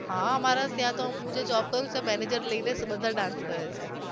હા અમારે ત્યાં તો હુ જે job કરુ છુ ત્યાં manager લઈને બધાય dance કરે છે